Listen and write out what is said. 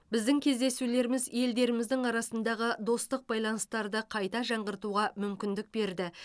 біздің кездесулеріміз елдеріміздің арасындағы достық байланыстарды қайта жаңғыртуға мүмкіндік берді